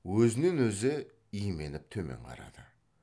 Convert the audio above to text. өзінен өзі именіп төмен қарады